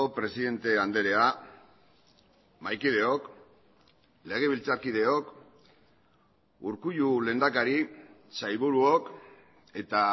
presidente andrea mahaikideok legebiltzarkideok urkullu lehendakari sailburuok eta